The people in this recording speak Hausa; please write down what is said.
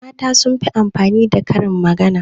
mata sun fi amfani da Karin magana